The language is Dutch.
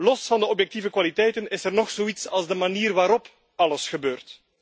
Los van de objectieve kwaliteiten is er nog zoiets als de manier waarop alles gebeurt.